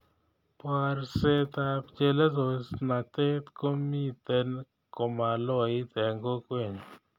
Borsetab chelososnatet komiten komaloit eng kokwenyu